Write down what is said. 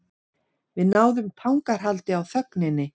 Við náðum tangarhaldi á þögninni.